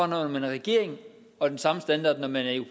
når man er i regering og den samme standard når man er i